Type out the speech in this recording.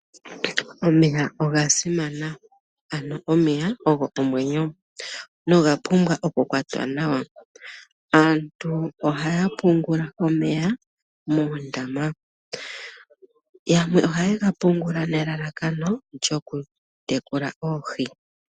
Omeya oga simana, ano omeya ogo omwenyo noga pumbwa oku kwatwa nawa. Aantu ohaya pungula omeya moondama. Yamwe ohaye ga pungula nelalakano lyoku tekula oohi.